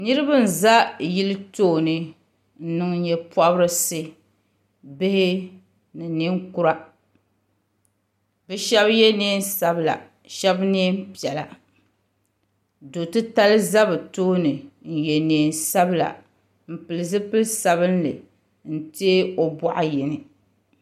Niriba n za yili tooni n niŋ nyeporisi bihi ni ninkura bɛ sheba ye niɛn'sabla sheba niɛn'piɛla do'titali za bɛ tooni n ye niɛn'sabla m pili zipil'sabinli n tee o boɣu yini.